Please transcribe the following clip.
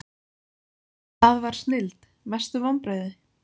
það var snilld Mestu vonbrigði?